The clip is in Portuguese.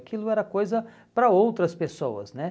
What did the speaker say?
Aquilo era coisa para outras pessoas, né?